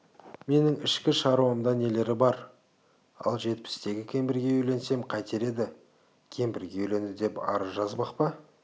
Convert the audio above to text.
менің ішкі шаруамда нелері бар ал жетпістегі кемпірге үйленсем қайтер еді кемпірге үйленді деп арыз жазбақ па